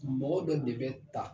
Mɔgɔ dɔ de bɛ ta.